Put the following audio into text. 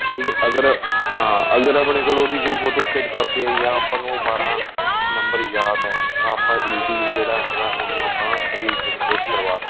ਅਗਰ ਹਾਂ ਅਗਰ ਆਪਣੇਂ ਕੋਲ ਉਹਦੀ ਕੋਲ ਕੋਈ ਫੋਟੋਸਟੇਟ ਕਾਪੀ ਜਾਂ ਆਪਾਂ ਨੂੰ ਉਹ ਬਾਰਾਂ number ਯਾਦ ਏ ਤਾਂ ਆਪਾਂ easy ਲਈ ਜਿਹੜਾ ਹੈਗਾ ਉਹਨੂੰ ਆਪਾਂ regenerate ਕਰਵਾ ਸਕਦੇ ਹਾਂ